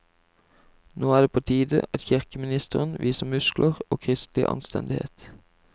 Nå er det på tide at kirkeministeren viser muskler og kristelig anstendighet.